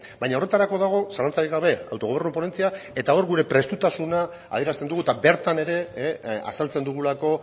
baina horretarako dago zalantzarik gabe autogobernu ponentzia eta hor gure prestutasuna adierazten dugu eta bertan ere azaltzen dugulako